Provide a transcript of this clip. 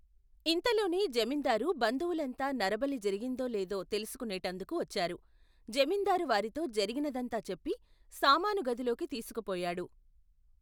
ఇంతలోనే జమీందారు బంధువులంతా నరబలి జరిగిందో లేదో తెలుసుకునేటందుకు వచ్చారు. జమీందారు వారితో జరిగినదంతా చెప్పి, సామానుగదిలోకి తీసుకుపోయాడు.